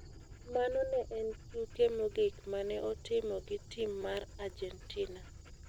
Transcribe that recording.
Mano ne en tuke mogik ma ne otimo gi tim mar Argentina.